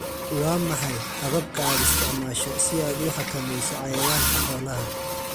Waa maxay hababka aad isticmaasho si aad u xakamayso cayayaanka xoolaha?